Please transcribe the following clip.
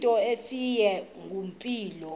into efileyo ngeempumlo